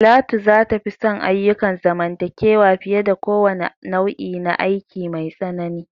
Talatu za ta fi son ayyukan zamantakewa fiye da kowane nau'i na aiki mai tsanani.